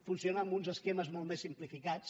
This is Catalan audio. funciona amb uns esquemes molt més simplificats